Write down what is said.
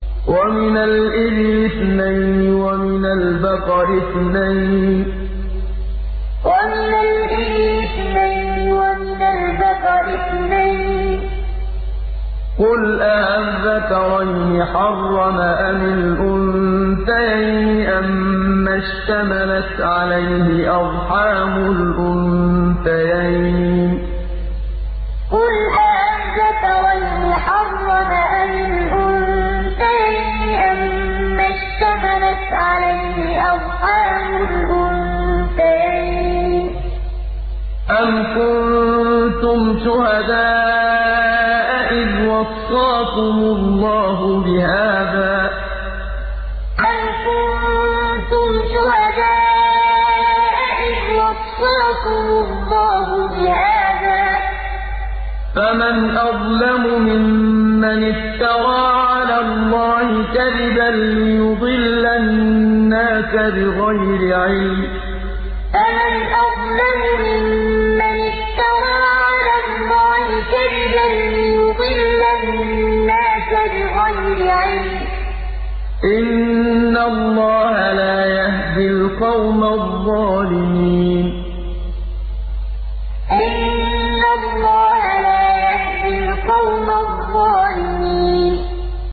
وَمِنَ الْإِبِلِ اثْنَيْنِ وَمِنَ الْبَقَرِ اثْنَيْنِ ۗ قُلْ آلذَّكَرَيْنِ حَرَّمَ أَمِ الْأُنثَيَيْنِ أَمَّا اشْتَمَلَتْ عَلَيْهِ أَرْحَامُ الْأُنثَيَيْنِ ۖ أَمْ كُنتُمْ شُهَدَاءَ إِذْ وَصَّاكُمُ اللَّهُ بِهَٰذَا ۚ فَمَنْ أَظْلَمُ مِمَّنِ افْتَرَىٰ عَلَى اللَّهِ كَذِبًا لِّيُضِلَّ النَّاسَ بِغَيْرِ عِلْمٍ ۗ إِنَّ اللَّهَ لَا يَهْدِي الْقَوْمَ الظَّالِمِينَ وَمِنَ الْإِبِلِ اثْنَيْنِ وَمِنَ الْبَقَرِ اثْنَيْنِ ۗ قُلْ آلذَّكَرَيْنِ حَرَّمَ أَمِ الْأُنثَيَيْنِ أَمَّا اشْتَمَلَتْ عَلَيْهِ أَرْحَامُ الْأُنثَيَيْنِ ۖ أَمْ كُنتُمْ شُهَدَاءَ إِذْ وَصَّاكُمُ اللَّهُ بِهَٰذَا ۚ فَمَنْ أَظْلَمُ مِمَّنِ افْتَرَىٰ عَلَى اللَّهِ كَذِبًا لِّيُضِلَّ النَّاسَ بِغَيْرِ عِلْمٍ ۗ إِنَّ اللَّهَ لَا يَهْدِي الْقَوْمَ الظَّالِمِينَ